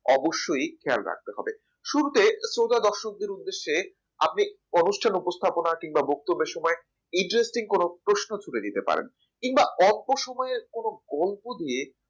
অবশ্যই খেয়াল রাখতে হবে শুরুতেই শ্রোতাদর্শকদের উদ্দেশ্যে আপনি অনুষ্ঠান উপস্থাপনা কিংবা বক্তব্যের সময় interesting কোন প্রশ্ন ছুড়ে দিতে পারেন কিংবা অল্প সময়ের কোন গল্প দিয়ে